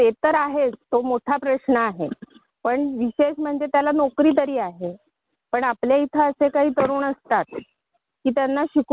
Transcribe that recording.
अगं ताई तो कुलकर्णी यांचा मुलगा इंजिनीयर झाला आणि बँकेमध्ये नोकरी करतो तो.